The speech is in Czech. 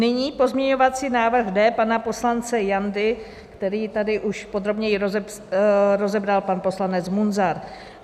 Nyní pozměňovací návrh D pana poslance Jandy, který tady už podrobněji rozebral pan poslanec Munzar.